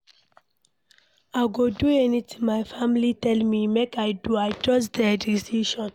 I go do anything my family tell me make I do, I trust their decision.